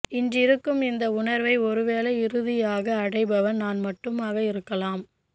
இன்றிருக்கும் இந்த உணர்வை ஒருவேளை இறுதியாக அடைபவன் நான் மட்டுமாக இருக்கலாம்